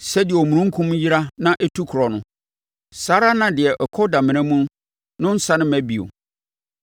Sɛdeɛ omununkum yera na ɛtu korɔ no, saa ara na deɛ ɔkɔ damena mu no nsane mma bio.